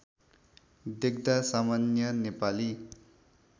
देख्दा सामान्य नेपाली